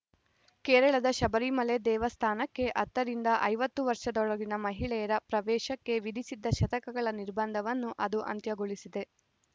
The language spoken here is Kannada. ಕೇರಳದ ಶಬರಿಮಲೆ ದೇವಸ್ಥಾನಕ್ಕೆ ಹತ್ತ ರಿಂದ ಐವತ್ತು ವರ್ಷದೊಳಗಿನ ಮಹಿಳೆಯರ ಪ್ರವೇಶಕ್ಕೆ ವಿಧಿಸಿದ್ದ ಶತಕಗಳ ನಿರ್ಬಂಧವನ್ನು ಅದು ಅಂತ್ಯಗೊಳಿಸಿದೆ